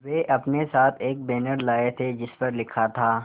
वे अपने साथ एक बैनर लाए थे जिस पर लिखा था